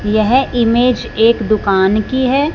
यह इमेज एक दुकान की है।